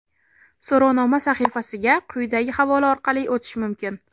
So‘rovnoma sahifasiga quyidagi havola orqali o‘tish mumkin.